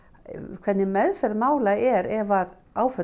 hver meðferð mála er ef áföll